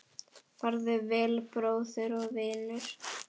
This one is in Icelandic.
Farðu vel, bróðir og vinur.